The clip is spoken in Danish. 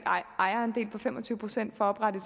ejerandel på fem og tyve procent for at oprette